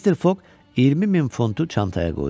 Mister Foq 20 min funtu çantaya qoydu.